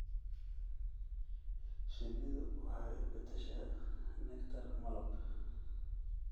Shinnidu waxay u beddeshaa nectar malab.